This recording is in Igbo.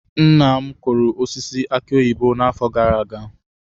Nna m kụrụ osisi aki oyibo n'afọ gara aga.